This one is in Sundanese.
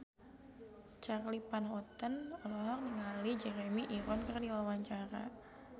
Charly Van Houten olohok ningali Jeremy Irons keur diwawancara